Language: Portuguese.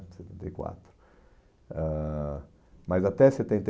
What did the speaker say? em setenta e quatro, ãh, mas até setenta e